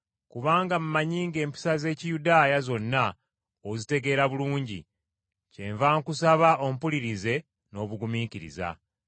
kubanga mmanyi ng’empisa z’Ekiyudaaya, zonna ozitegeera bulungi. Kyenva nkusaba ompulirize n’obugumiikiriza.